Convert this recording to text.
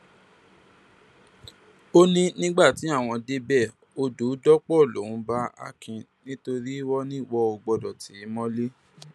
ó ní nígbà tí àwọn débẹ odò dọpọ lòún bá akin nítorí wọn ni wọn ò gbọdọ tì í mọlẹ